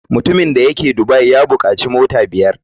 Mutumin da yake dubai ya bukaci mota biyar.